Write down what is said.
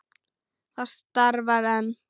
Það starfar enn.